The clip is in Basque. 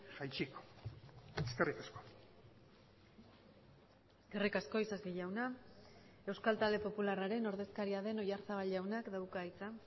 jaitsiko eskerrik asko eskerrik asko isasi jauna euskal talde popularraren ordezkaria den oyarzabal jaunak dauka hitza